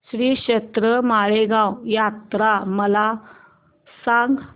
श्रीक्षेत्र माळेगाव यात्रा मला सांग